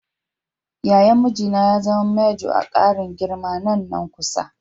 Yayan mijina ya zama manjo a ƙarin girman nan na kusa.